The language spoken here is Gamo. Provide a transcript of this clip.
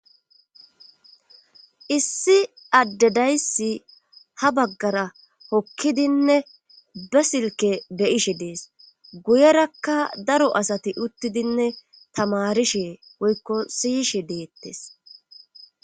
issi adde daysi ha baggara hokkidinne ba silke beyishe dees guyerakka daro asati uttidinne tamarishe woykko siyishe deettes